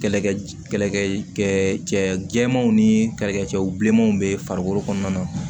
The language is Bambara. Kɛlɛkɛ kɛlɛkɛ cɛmanw ni kɛlɛkɛ cɛw bi bilenmanw bɛ farikolo kɔnɔna na